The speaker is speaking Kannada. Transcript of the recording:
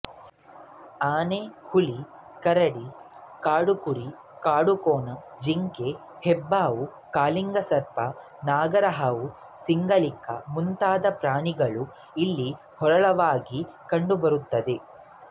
ಆನೆ ಹುಲಿ ಕರಡಿ ಕಾಡುಕುರಿ ಕಾಡುಕೋಣ ಜಿಂಕೆ ಹೆಬ್ಬಾವು ಕಾಳಿಂಗಸರ್ಪ ನಾಗರಹಾವು ಸಿಂಗಳಿಕ ಮುಂತಾದ ಪ್ರಾಣಿಗಳು ಇಲ್ಲಿ ಹೇರಳವಾಗಿ ಕಂಡುಬರುತ್ತವೆ